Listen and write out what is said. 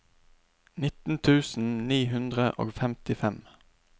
nitten tusen ni hundre og femtifem